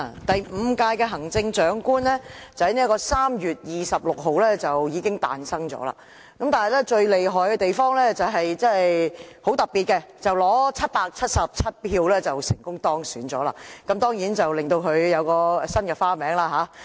第五屆行政長官已經在3月26日產生，而最厲害亦很特別的地方是，她以777票成功當選，當然她因而有新的別名。